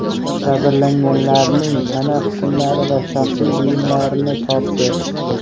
jabrlanganlarning tana qismlari va shaxsiy buyumlarini topdi.